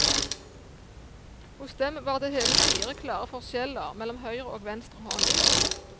Hos dem var det hele fire klare forskjeller mellom høyre og venstre hånd.